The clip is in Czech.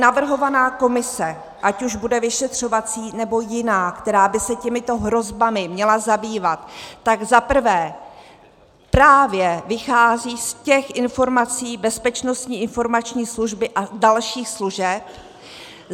Navrhovaná komise, ať už bude vyšetřovací, nebo jiná, která by se těmito hrozbami měla zabývat, tak - za prvé - právě vychází z těch informací Bezpečnostní informační služby a dalších služeb.